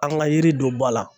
An ka yiri don ba la.